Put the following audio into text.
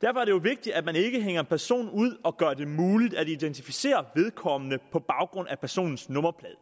derfor er det jo vigtigt at man ikke hænger en person ud og gør det muligt at identificere vedkommende på baggrund af personens nummerplade